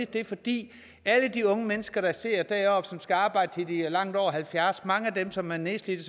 det er fordi alle de unge mennesker der sidder deroppe og som skal arbejde til de er langt over halvfjerds mange af dem som er nedslidte